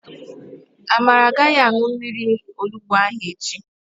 Amara agaghị aṅụ mmiri onugbo ahụ echi.